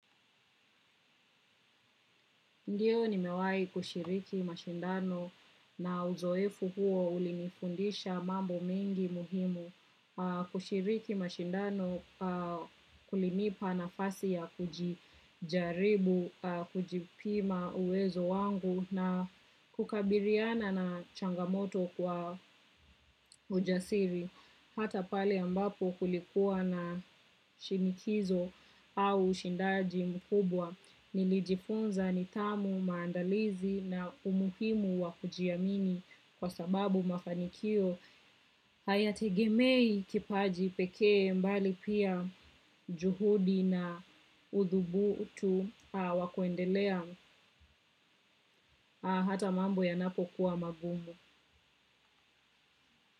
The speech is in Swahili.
Ndiyo nimewahi kushiriki mashindano na uzoefu huo ulinifundisha mambo mingi muhimu kushiriki mashindano kulinipa na fasi ya kujijaribu, kujipima uwezo wangu na kukabiriana na changamoto kwa ujasiri. Hata pale ambapo kulikuwa na shinikizo au ushindaji mkubwa nilijifunza nithamu maandalizi na umuhimu wakujiamini kwa sababu mafanikio hayategemei kipaji pekee mbali pia juhudi na uthubutu wakuendelea hata mambo yanapo kuwa magumu.